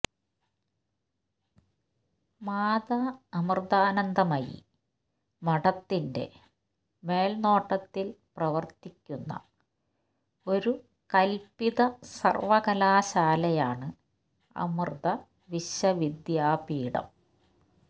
മാതാ അമൃതാനന്ദമയി മഠത്തിൻറെ മേൽനോട്ടത്തിൽ പ്രവർത്തിക്കുന്ന ഒരു കല്പിത സർവകലാശാലയാണ് അമൃത വിശ്വവിദ്യാപീഠം